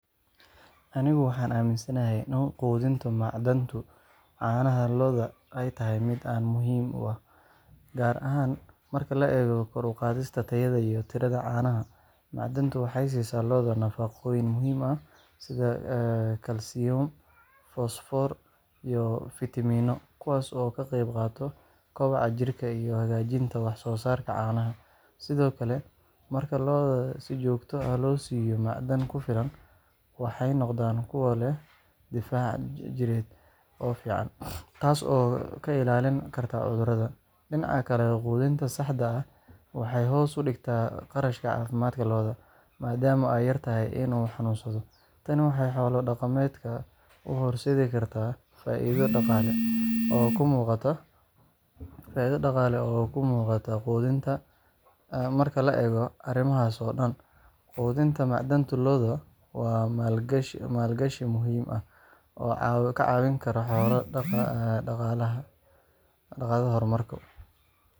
Anigu waxaan aaminsanahay in quudinta macdanta caanaha lo’da ay tahay mid aad muhiim u ah, gaar ahaan marka la eego kor u qaadista tayada iyo tirada caanaha. Macdantu waxay siisaa lo’da nafaqooyin muhiim ah sida kalsiyum, fosfoor, iyo fiitamiino, kuwaas oo ka qayb qaata koboca jirka iyo hagaajinta wax-soo-saarka caanaha. Sidoo kale, marka lo’da si joogto ah loo siiyo macdan ku filan, waxay noqdaan kuwo leh difaac jidheed oo fiican, taas oo ka ilaalin karta cudurrada. Dhinaca kale, quudinta saxda ah waxay hoos u dhigtaa kharashka caafimaadka lo’da, maadaama ay yartahay in ay xanuunsadaan. Tani waxay xoolo-dhaqatada u horseedi kartaa faa’iido dhaqaale oo muuqata. Marka la eego arrimahaas oo dhan, quudinta macdanta lo’da waa maalgashi muhiim ah oo ka caawin kara xoolo-dhaqatada horumar waara